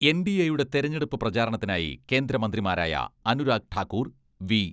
എൻ.ഡി.എയുടെ തെരഞ്ഞെടുപ്പ് പ്രചാരണത്തിനായി കേന്ദ്രമന്ത്രിമാരായ അനുരാഗ് ഠാക്കൂർ, വി.